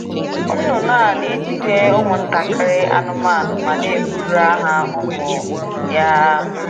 Nnụnụ a na-ejide ụmụ ntakịrị anụmanụ ma na-ebugara ha ụmụ ya.